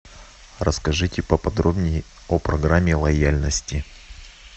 расскажите поподробнее о программе лояльности